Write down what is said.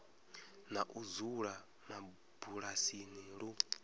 na u dzula mabulasini lu